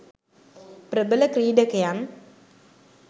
ප්‍රබල ක්‍රීඩකයන්